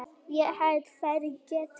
Ég held þeir geti það.